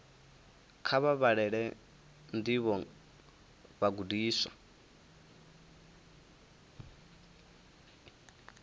kha vha vhalele ndivho vhagudiswa